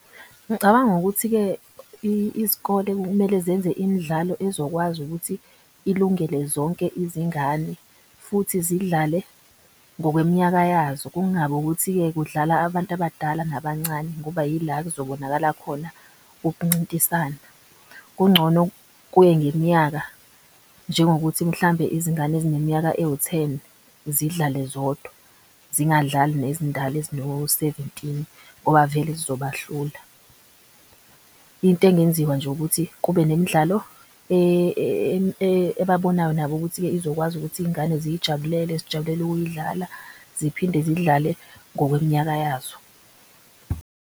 Ngicabanga ukuthi-ke izikole kumele zenze imdlalo ezokwazi ukuthi ilungele zonke izingane futhi zidlale ngokwemnyaka yazo. Kungabi ukuthi-ke kudlala abantu abadala nabancane ngoba yila kuzobonakala khona ukuncintisana. Kungcono kuye ngemnyaka njengokuthi mhlambe izingane ezineminyaka ewutheni zidlale zodwa. Zingadlali nezindala ezino seventini ngoba vele zizobahlula. Into engenziwa nje ukuthi kube nemidlalo ebabonayo nabo ukuthi izokwazi ukuthi iy'ngane ziyijabulele. Zijabulele ukuyidlala ziphinde zidlale ngokwemnyaka yazo.